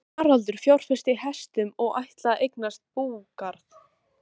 Haraldur fjárfesti í hestum og ætlaði að eignast búgarð.